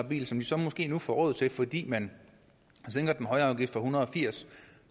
bil som de så måske nu får råd til fordi man sænker den høje afgift fra en hundrede og firs